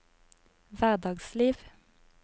hverdagsliv